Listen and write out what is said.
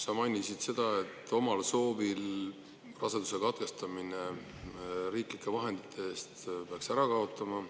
Sa mainisid, et omal soovil raseduse katkestamise riiklike vahendite eest peaks ära kaotama.